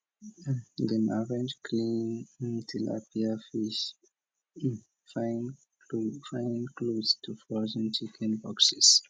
dem arrange cleaned tilapia fish finefine close to frozen chicken boxes